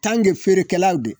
tanke feerekɛlaw